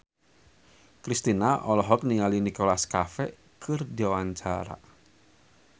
Kristina olohok ningali Nicholas Cafe keur diwawancara